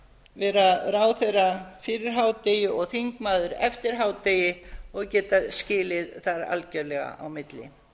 vera ráðherra fyrir hádegi og þingmaður eftir hádegi og geta skilið þar algjörlega á milli